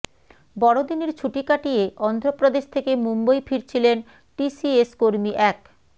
বড়দিনের ছুটি কাটিয়ে অন্ধ্রপ্রদেশ থেকে মুম্বই ফিরছিলেন টিসিএস কর্মী এক